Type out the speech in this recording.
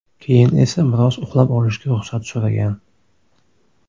Keyin esa biroz uxlab olishga ruxsat so‘ragan.